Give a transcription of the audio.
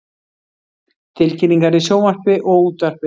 Tilkynningar í sjónvarpi og útvarpi.